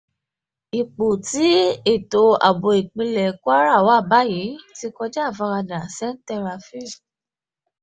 ipò tí ètò ààbò ìpínlẹ̀ kwara wà báyìí ti ń kọjá àfaradà sèǹtẹ́ rafiu